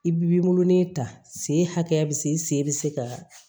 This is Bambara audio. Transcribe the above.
I bi nolonin ta sen hakɛya bi se sen be se ka